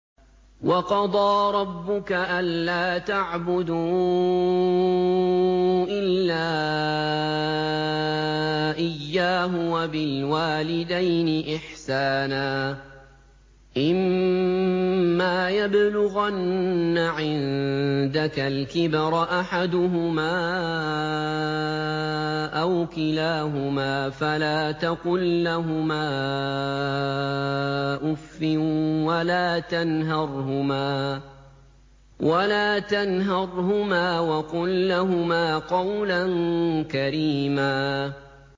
۞ وَقَضَىٰ رَبُّكَ أَلَّا تَعْبُدُوا إِلَّا إِيَّاهُ وَبِالْوَالِدَيْنِ إِحْسَانًا ۚ إِمَّا يَبْلُغَنَّ عِندَكَ الْكِبَرَ أَحَدُهُمَا أَوْ كِلَاهُمَا فَلَا تَقُل لَّهُمَا أُفٍّ وَلَا تَنْهَرْهُمَا وَقُل لَّهُمَا قَوْلًا كَرِيمًا